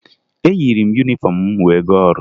Eyiri m yunifọmụ m wee gaa ọrụ